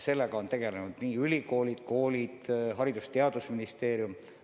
Sellega on tegelenud ülikoolid, koolid, Haridus- ja Teadusministeerium.